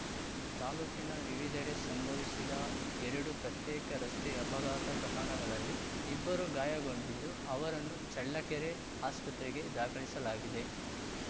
ತಾಲೂಕಿನ ವಿವಿಧೆಡೆ ಸಂಭವಿಸಿದ ಎರಡು ಪ್ರತ್ಯೇಕ ರಸ್ತೆ ಅಪಘಾತ ಪ್ರಕರಣಗಳಲ್ಲಿ ಇಬ್ಬರು ಗಾಯಗೊಂಡಿದ್ದು ಅವರನ್ನು ಚಳ್ಳಕೆರೆ ಆಸ್ಪತ್ರೆಗೆ ದಾಖಲಿಸಲಾಗಿದೆ